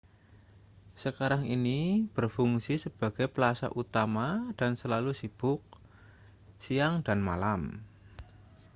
sekarang ini berfungsi sebagai plasa utama dan selalu sibuk siang dan malam